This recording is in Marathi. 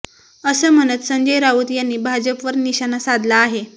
असं म्हणत संजय राऊत यांनी भाजपवर निशाणा साधला आहे